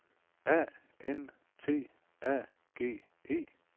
A N T A G E